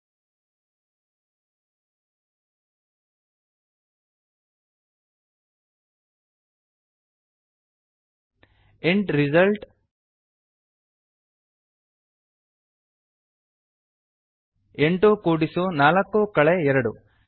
int result int result 84 2ಎಂಟು ಕೂಡಿಸು ನಾಲ್ಕು ಕಳೆ ಎರಡು